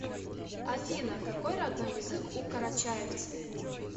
афина какой родной язык у карачаевцы